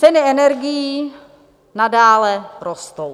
Ceny energií nadále rostou.